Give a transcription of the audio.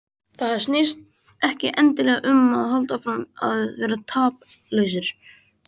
Það snýst ekki endilega um að halda áfram að vera taplausir.